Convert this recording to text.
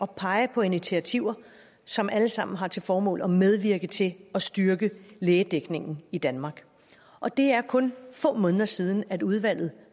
pege på initiativer som alle sammen har til formål at medvirke til at styrke lægedækningen i danmark og det er kun få måneder siden at udvalget